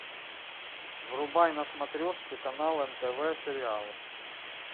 врубай на смотрешке канал нтв сериал